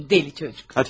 Dəli uşaq.